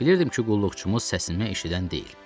Bilirdim ki, qulluqçumuz səsini eşidən deyil.